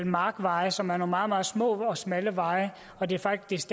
markveje som er nogle meget meget små og smalle veje og det er faktisk